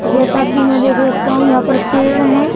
जैसा कि मैं देख सकता हूं यहां पर पेड़ हैं।